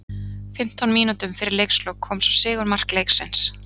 Fimmtán mínútum fyrir leikslok kom svo sigurmark leiksins.